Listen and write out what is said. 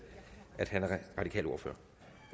at han er radikal ordfører